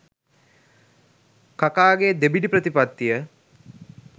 කකාගේ දෙබිඩි ප්‍රතිපත්තිය.